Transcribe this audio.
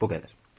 Bu qədər.